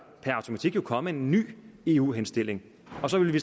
jo komme en ny eu henstilling og så ville vi